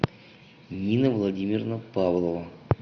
нина владимировна павлова